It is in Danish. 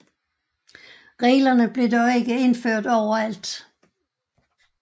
Reglerne blev dog ikke indført overalt